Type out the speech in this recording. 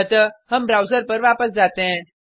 अतः हम ब्राउज़र पर वापस जाते हैं